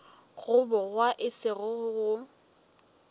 go bogwa e sego go